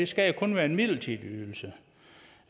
skal jo kun være en midlertidig ydelse